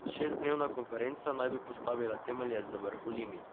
Šestdnevna konferenca naj bi postavila temelje za vrh v Limi.